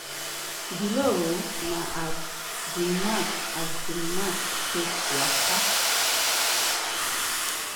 below na as di match as di match take waka.